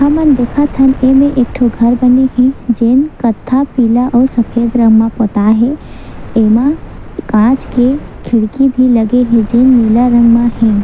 हमन देखत हन एमे एक ठन घर बने हे जेन कत्था पीला अउ सफ़ेद रंग म पोता हे एमा कांच के खिड़की भी लगे हे जेन नीला रंग म हे।